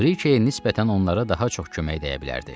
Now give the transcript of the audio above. Briçiyə nisbətən onlara daha çox kömək dəyə bilərdi.